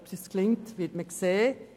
Ob uns dies gelingt, wird man sehen.